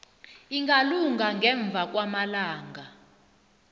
ingalunga ngemva kwamalanga